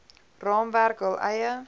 raamwerk hul eie